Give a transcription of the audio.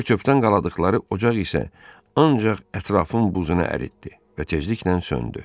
Çör-çöpdən qaladıqları ocaq isə ancaq ətrafın buzunu əritdi və tezliklə söndü.